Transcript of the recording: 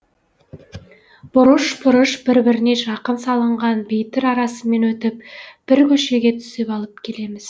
бұрыш бұрыш бір біріне жақын салынған бейтір арасымен өтіп бір көшеге түсіп алып келеміз